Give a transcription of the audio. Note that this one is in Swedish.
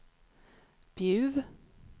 Bjuv